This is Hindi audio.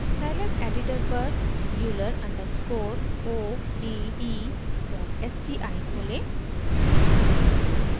scilab एडिटर पर euler underscore o d e dot sci खोलें